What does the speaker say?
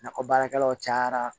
Nakɔ baarakɛlaw cayara